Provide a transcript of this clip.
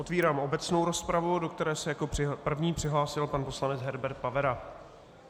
Otvírám obecnou rozpravu, do které se jako první přihlásil pan poslanec Herbert Pavera.